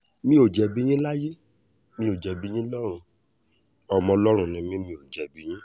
mi ò jẹ̀bi yín láyé mi ò jẹ̀bi yín lọ́rùn ọmọ ọlọ́run ni mi mi ò ní jẹ̀bi